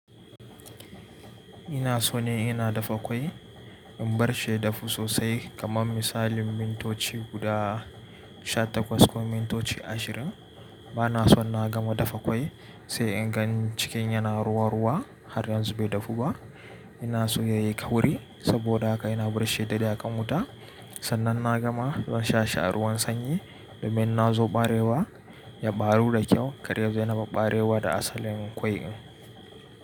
Ina so ne ina dafa ƙwai, in barshi ya dafu sosai kamar misalin mintoci guda sha takwas ko mintoci ashirin. Bana so na gama dafa ƙwai sai in gan cikin yana ruwa ruwa har yanzu bai dafu ba. Ina so ya yi ƙauri saboda haka ina barshi dadde ya ƙanwata. Sannan na gama zansha a ruwan sanyi domin na zo barewa ya barru da kyau, karya yazo ya naɓab barewa da asalin ƙwai'n.